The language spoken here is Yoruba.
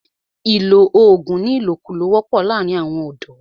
ìlọ oògùn ní ìlòkulò wọ́pọ̀ láàrín àwọn ọ̀dọ̀.